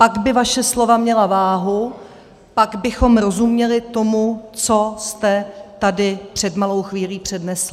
Pak by vaše slova měla váhu, pak bychom rozuměli tomu, co jste tady před malou chvílí přednesl.